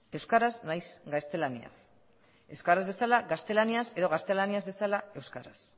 euskaraz nahiz gaztelaniaz euskaraz bezala gaztelaniaz edo gaztelaniaz bezala euskaraz